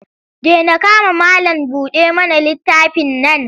Dena kama malam-buɗa-mana-littafin nan.